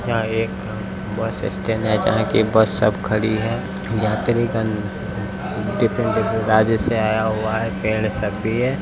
यह एक bus stand है जहां की बस सब खरी है यात्रीगण डिफरेंट -डिफरेंट राज्य से आया हुआ है पेड़ सब भी है।